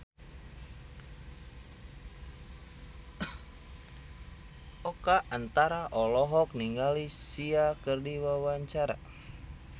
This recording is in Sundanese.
Oka Antara olohok ningali Sia keur diwawancara